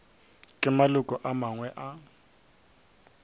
ke maloko a mangwe a